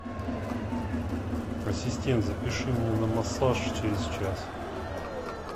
ассистент запиши меня на массаж через час